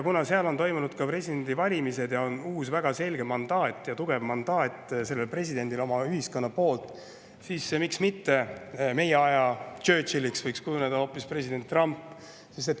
Kuna seal on toimunud presidendivalimised ning ühiskond on uuele presidendile väga selge ja tugeva mandaadi, siis miks mitte ei võiks meie aja Churchilliks kujuneda hoopis president Trump.